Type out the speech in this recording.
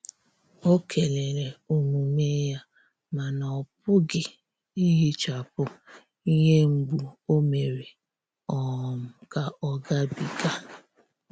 Ọ kelere omume ya, mana ọpughi ihechapu ihe mgbu o mere um ka ọ ga bi ga.